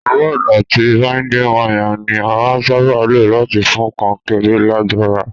Rod àti binding wire ni a màa n sábà lo láti fún kankéré lágbára